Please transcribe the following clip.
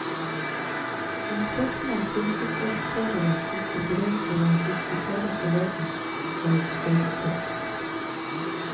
De spørsmål fylkesordførerne ikke brød seg med å diskutere forleden dag, står i kø.